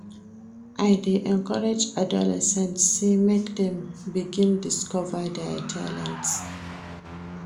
I dey encourage adolescents sey make dem begin discover their talents.